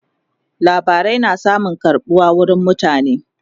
labarai na samun karbuwa wurin mutane